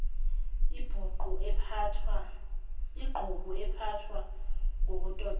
iqhubu ephathwa ngokutotoswa